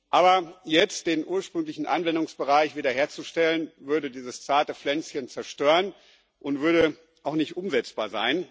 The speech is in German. Aber jetzt den ursprünglichen Anwendungsbereich wieder herzustellen, würde dieses zarte Pflänzchen zerstören und wäre auch nicht umsetzbar.